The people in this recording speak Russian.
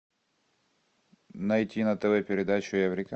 найти на тв передачу эврика